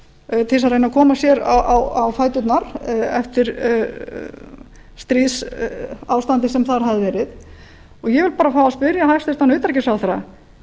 að reyna að koma sér á fæturnar eftir stríðsástandið sem þar hafði verið og ég vil bara fá að spyrja hæstvirtan utanríkisráðherra